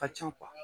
Ka ca